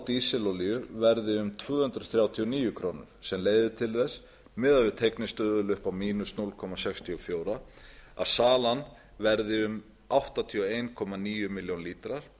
dísilolíu verði um tvö hundruð þrjátíu og níu krónur sem leiðir til þess miðað við teygnistuðul upp á núll komma sextíu og fjögur að salan verði um áttatíu og einn komma níu milljónir lítra